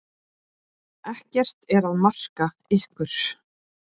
Ekkert er að marka ykkur.